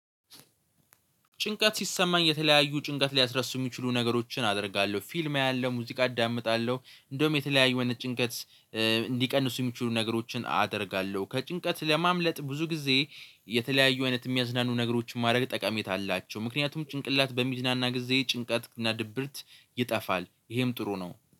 ጭንቀት ሲሰማኝ የተለያዩ ጭንቀት ሊያስረሱ የሚችሉ ነገሮችን አደርጋለሁ ፊልም አያለሁ፤ ሙዚቃ አዳምጣለሁ፤ እንደውም የተለያዩ አይነት ጭንቀት እንዲቀንሱ የሚችሉ ነገሮችን አደርጋለሁ። ከጭንቀት ለማምለጥ ብዙ ጊዜ የተለያዩ አይነት የሚያዝናኑ ነገሮችን ማድረግ ጠቃሚታ አላቸው ምክንያቱም ጭንቅላት በሚዝናና ጊዜ ጭንቀት እና ድብርት ይጠፋል። ይሄም ጥሩ ነው